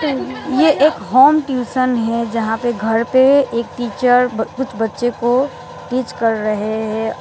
ये एक home tuition है जहां पे घर पे एक टीचर कुछ बच्चे को टीच कर रहे हैं।